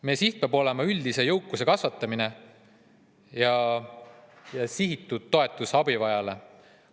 Meie siht peab olema üldise jõukuse kasvatamine ja sihitatud toetus abivajajale.